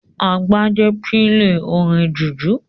Agbájé n pílè orin jùjú